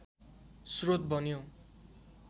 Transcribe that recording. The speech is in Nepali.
श्रोत बन्यो